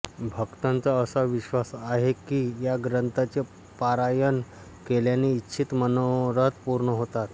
भक्तांचा असा विश्वास आहे की या ग्रंथाचे पारायण केल्याने इच्छित मनोरथ पूर्ण होतात